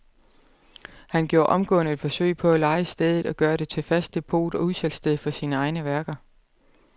Han gjorde omgående et forsøg på at leje stedet og gøre det til fast depot og udsalgssted for sine egne værker.